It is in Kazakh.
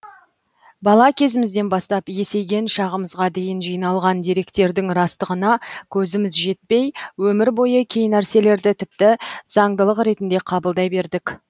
бала кезімізден бастап есейген шағымызға дейін жиналған деректердің растығына көзіміз жетпей өмір бойы кей нәрселерді тіпті заңдылық ретінде қабылдай бердік